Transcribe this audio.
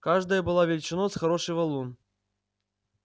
каждая была величиной с хороший валун